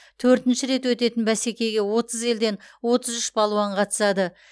төртінші рет өтетін бәсекеге отыз елден отыз үш балуан қатысады